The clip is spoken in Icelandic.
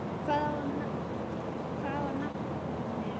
Hvaðan er nafnið komið?